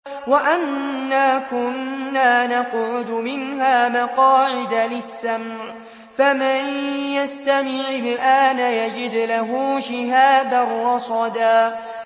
وَأَنَّا كُنَّا نَقْعُدُ مِنْهَا مَقَاعِدَ لِلسَّمْعِ ۖ فَمَن يَسْتَمِعِ الْآنَ يَجِدْ لَهُ شِهَابًا رَّصَدًا